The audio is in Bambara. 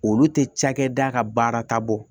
Olu tɛ cakɛda ka baara ta bɔ